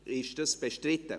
Ist das bestritten?